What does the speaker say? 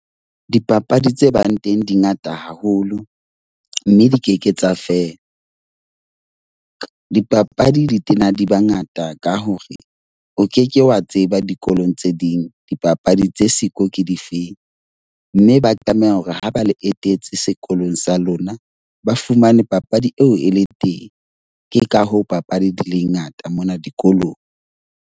Dipapadi tse bang teng di ngata haholo, mme di ke ke tsa feela. Dipapadi di tena di ba ngata ka hore o ke ke wa tseba dikolong tse ding dipapadi tse siko ke difeng. Mme ba tlameha hore ha ba le etetse sekolong sa lona. Ba fumane papadi eo e le teng, ke ka hoo papadi di le ngata mona dikolong.